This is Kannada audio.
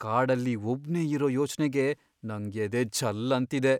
ಕಾಡಲ್ಲಿ ಒಬ್ನೇ ಇರೋ ಯೋಚ್ನೆಗೇ ನಂಗ್ ಎದೆ ಝಲ್ ಅಂತಿದೆ.